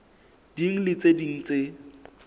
ding le tse ding tse